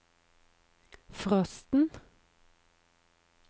frosten